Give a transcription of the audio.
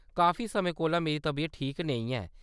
काफी समें कोला मेरी तबीयत ठीक नेईं ऐ।